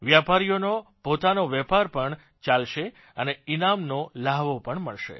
વેપારીઓનો પોતાનો વેપાર પણ ચાલશે અને ઇનામનો લહાવો પણ મળશે